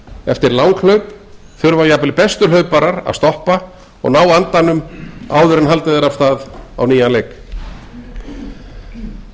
eftir langhlaup þurfa jafnvel bestu hlauparar að stoppa og ná andanum áður en haldið er af stað á nýjan leik